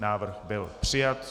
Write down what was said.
Návrh byl přijat.